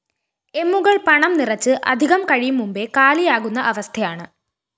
എമ്മുകള്‍ പണം നിറച്ച് അധികം കഴിയും മുമ്പേ കാലിയാകുന്ന അവസ്ഥയാണ്